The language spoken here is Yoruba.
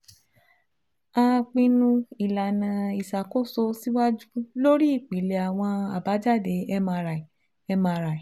A pinnu ilana iṣakoso siwaju lori ipilẹ awọn abajade MRI MRI